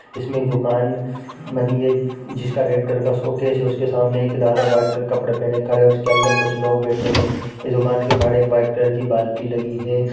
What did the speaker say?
इसमें दुकान बनी हैं जिसका रेड कलर का शोकेस हैं उसके सामने एक दादा वाइट कलर के कपडे पहने खड़े हैं जिसके अंदर कुछ लोग बैठा हैं इस दुकान के बहार एक वाइट कलर की बालटी लगी हैं।